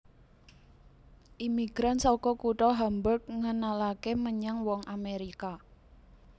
Imigran saka kutha Hamburg ngenalaké menyang wong Amèrika